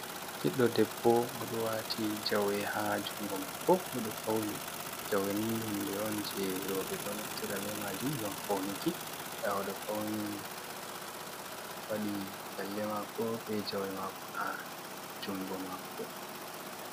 Ɓiɗɗo debbo oɗo wati jawe ha jungo mako, oɗo fauni. Jaweni hunde on je robe ɗo neftira be majum ngam fauniki, nda oɗo fauni wadi lalle mako be jawe mako ha jungo mako.